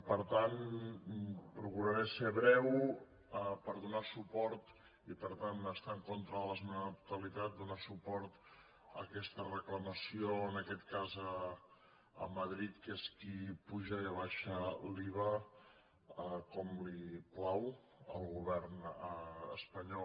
per tant procuraré ser breu per donar suport i per tant estar en contra de l’esmena a la totalitat donar suport a aquesta reclamació en aquest cas a madrid que és qui apuja i abaixa l’iva com li plau al govern espanyol